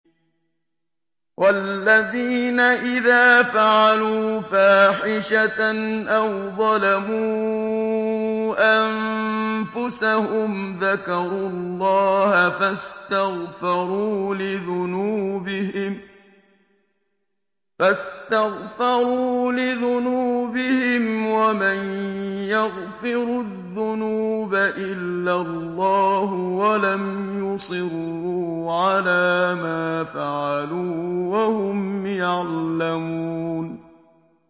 وَالَّذِينَ إِذَا فَعَلُوا فَاحِشَةً أَوْ ظَلَمُوا أَنفُسَهُمْ ذَكَرُوا اللَّهَ فَاسْتَغْفَرُوا لِذُنُوبِهِمْ وَمَن يَغْفِرُ الذُّنُوبَ إِلَّا اللَّهُ وَلَمْ يُصِرُّوا عَلَىٰ مَا فَعَلُوا وَهُمْ يَعْلَمُونَ